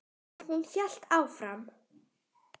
En hún hélt áfram.